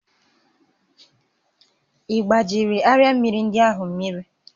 Ị gbajiri arịa mmịrị ndị ahụ mmiri?